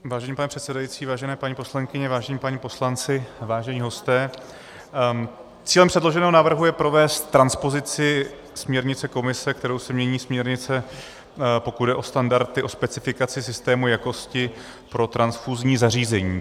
Vážený pane předsedající, vážené paní poslankyně, vážení páni poslanci, vážení hosté, cílem předloženého návrhu je provést transpozici směrnice Komise, kterou se mění směrnice, pokud jde o standardy, o specifikaci systému jakosti pro transfuzní zařízení.